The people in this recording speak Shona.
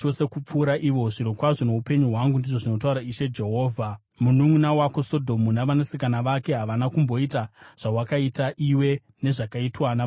Zvirokwazvo noupenyu hwangu, ndizvo zvinotaura Ishe Jehovha, mununʼuna wako Sodhomu navanasikana vake havana kumboita zvawakaita iwe nezvakaitwa navanasikana vako.